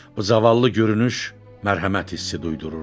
Bu zavallı görünüş mərhəmət hissi duyururdu.